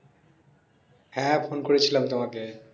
হ্যাঁ, phone করেছিলাম তোমাকে।